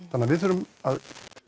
þannig að við þurfum að